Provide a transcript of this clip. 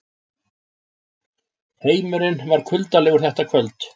Heimurinn var kuldalegur þetta kvöld.